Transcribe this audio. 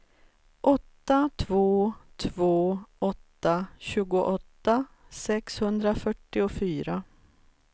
åtta två två åtta tjugoåtta sexhundrafyrtiofyra